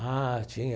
Ah, tinha.